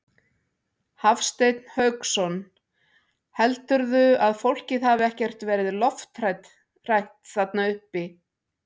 Hafsteinn Hauksson: Heldurðu að fólkið hafi ekkert verið lofthrætt þarna uppi?